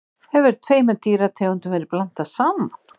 Hefur tveimur dýrategundum verið blandað saman?